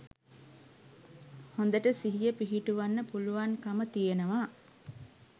හොඳට සිහිය පිහිටුවන්න පුළුවන්කම තියෙනවා.